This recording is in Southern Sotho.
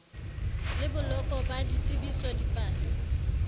le boloko ba ditsebiso dipale